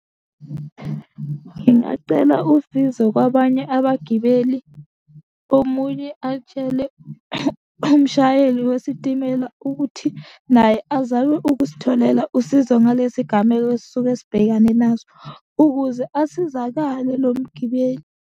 Ngingacela usizo kwabanye abagibeli, omunye atshele umshayeli wesitimela ukuthi naye azame ukusitholela usizo ngalesi gameko esuke sibhekane naso, ukuze asizakale lo mgibeli.